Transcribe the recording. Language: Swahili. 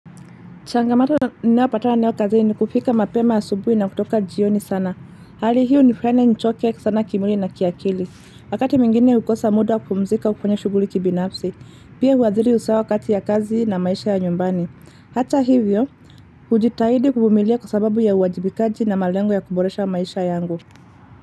Changamoto ninayopatala nayo kazi ni kufika mapema ya subuhi na kutoka jioni sana. Hali hii unifanya nichoke sana kimwli na kiakili. Wakati mingine hukosa muda kupumzika kufanya shuguli kibinafsi. Pia huwaziri usawa wakati ya kazi na maisha ya nyumbani. Hata hivyo, hujitahidi kuvumilia kwa sababu ya uwajibikaji na malengo ya kuboresha maisha yangu.